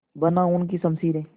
बना उनकी शमशीरें